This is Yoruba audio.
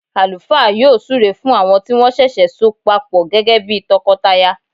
Àlùfáà yọ súre fún àwọn tí wọ́n ṣẹ̀ṣẹ̀ so papọ gẹ́gẹ́ bí tọkọtaya